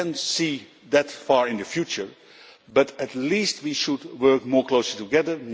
I cannot see that far into the future, but at least we should work more closely together.